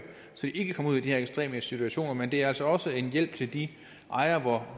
så de ikke kommer ud i de her ekstreme situationer men det er altså også en hjælp til de ejere